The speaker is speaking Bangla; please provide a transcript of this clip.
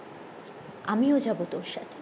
আমি ও যাবো তোর সাথে